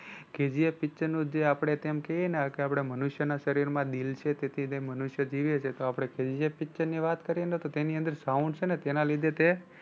KGFpicture નું જે આપણે તેમ કહીએ ને કે આપણાં મનુષ્ય ના શરીર માં દિલ છે તેથી તે મનુષ્ય જીવે છે તો આપણે KGFpicture ની વાત કરીએ તો તેની અંદર sound છે ને તેના લીધે તે